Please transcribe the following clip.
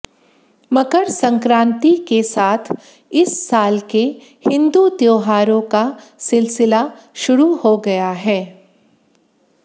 मकर संक्रांति के साथ इस साल के हिंदू त्योहारों का सिलसिला शुरु हो गया है